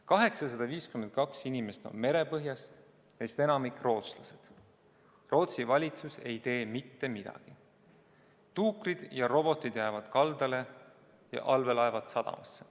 852 inimest on merepõhjas, neist enamik rootslased – aga Rootsi valitsus ei tee mitte midagi, tuukrid ja robotid jäävad kaldale ja allveelaevad sadamasse.